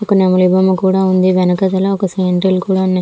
ఒక నవలం కూడా ఉంది వెనకాతల సీనరీ కూడా ఉంది.